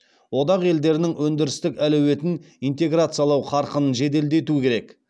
одақ елдерінің өндірістік әлеуетін интеграциялау қарқынын жеделдету керек